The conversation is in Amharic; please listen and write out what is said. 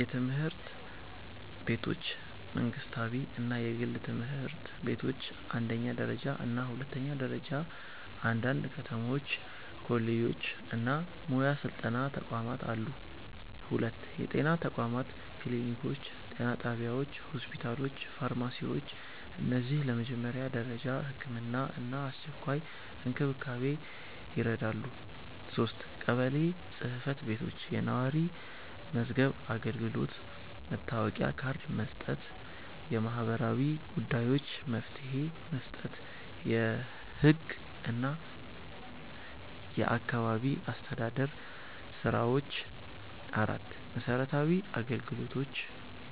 የትምህርት ቤቶች መንግስታዊ እና የግል ትምህርት ቤቶች አንደኛ ደረጃ እና ሁለተኛ ደረጃ አንዳንድ ከተሞች ኮሌጆች እና ሙያ ስልጠና ተቋማት አሉ 2. የጤና ተቋማት ክሊኒኮች ጤና ጣቢያዎች ሆስፒታሎች ፋርማሲዎች እነዚህ ለመጀመሪያ ደረጃ ሕክምና እና አስቸኳይ እንክብካቤ ይረዳሉ 3. ቀበሌ ጽ/ቤቶች የነዋሪ መዝገብ አገልግሎት መታወቂያ ካርድ መስጠት የማህበራዊ ጉዳዮች መፍትሄ መስጠት የህግ እና የአካባቢ አስተዳደር ስራዎች 4. መሰረታዊ አገልግሎቶች